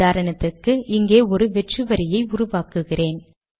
உதாரணத்துக்கு இங்கே ஒரு வெற்று வரியை உருவாக்குகிறேன்